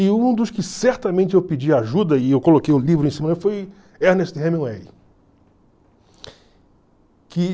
E um dos que certamente eu pedi ajuda, e eu coloquei o livro em cima, foi Ernest Hemingway.